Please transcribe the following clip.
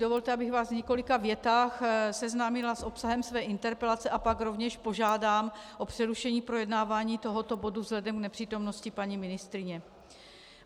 Dovolte, abych vás v několika větách seznámila s obsahem své interpelace, a pak rovněž požádám o přerušení projednávání tohoto bodu vzhledem k nepřítomnosti paní ministryně.